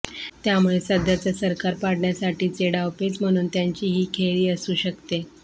त्यामुळे सध्याचं सरकार पाडण्यासाठीचे डावपेच म्हणून त्यांची ही खेळी असू शकते